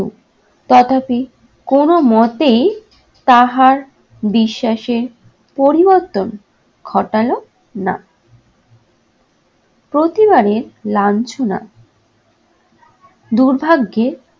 তথাপি কোন মতেই তাহার বিশ্বাসে পরিবর্তন ঘটালো না। প্রতিবারের লাঞ্ছনা দুর্ভাগ্যে